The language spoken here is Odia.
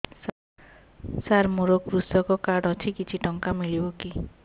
ସାର ମୋର୍ କୃଷକ କାର୍ଡ ଅଛି କିଛି ଟଙ୍କା ମିଳିବ କି